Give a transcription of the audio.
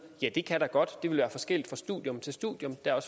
ja det kan der godt det vil være forskelligt fra studium til studium der er